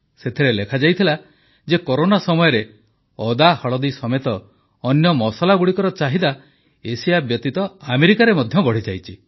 ସେଥିରେ ଲେଖାଯାଇଥିଲା ଯେ କରୋନା ସମୟରେ ଅଦା ହଳଦୀ ସମେତ ଅନ୍ୟ ମସଲାଗୁଡ଼ିକର ଚାହିଦା ଏସିଆ ବ୍ୟତୀତ ଆମେରିକାରେ ମଧ୍ୟ ବଢ଼ିଯାଇଛି